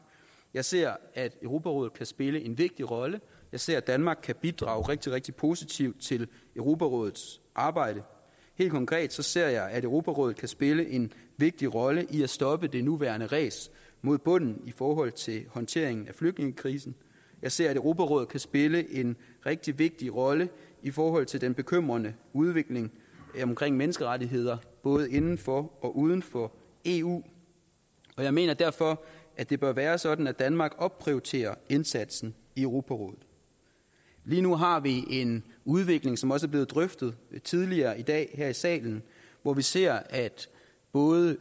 jeg ser at europarådet kan spille en vigtig rolle jeg ser at danmark kan bidrage rigtig rigtig positivt til europarådets arbejde helt konkret ser jeg at europarådet kan spille en vigtig rolle i at stoppe det nuværende ræs mod bunden i forhold til håndteringen af flygtningekrisen jeg ser at europarådet kan spille en rigtig vigtig rolle i forhold til den bekymrende udvikling omkring menneskerettigheder både inden for og uden for eu og jeg mener derfor at det bør være sådan at danmark opprioriterer indsatsen i europarådet lige nu har vi en udvikling som også er blevet drøftet tidligere i dag her i salen hvor vi ser at både